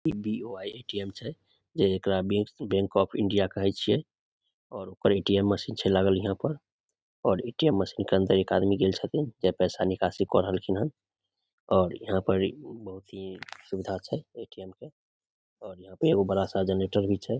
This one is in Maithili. इ बी.ओ.आई. ए.टी.एम. छै जे एकरा बैंक ऑफ़ इण्डिया कहे छिये और ओकर ए.टी.एम. मशीन लागल छै यहाँ पर ए.टी.एम. मशीन के अंदर एक आदमी गेल छथिन पैसा निकासी क रहलखिन हन और यहाँ पर ही बहुते सुविधा छै ए.टी.एम. क और यहाँ पर एगो बड़ा सा जनरेटर भी छै ।